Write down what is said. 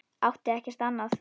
Átti ekkert annað.